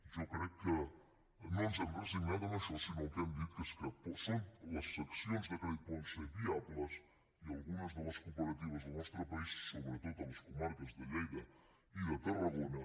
jo crec que no ens hem resignat a això sinó que el que hem dit és que les seccions de crèdit poden ser viables i algunes de les cooperatives del nostre país sobretot a les comarques de lleida i de tarragona